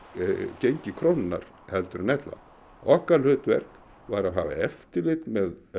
gengi krónunnar en ella okkar hlutverk var að hafa eftirlit með